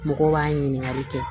Mɔgɔw b'a ɲininkali kɛ